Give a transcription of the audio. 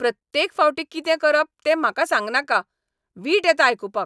प्रत्येक फावटी कितें करप तें म्हाका सांगनाका. वीट येता आयकूपाक.